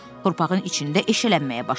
Torpağın içində eşələnməyə başladılar.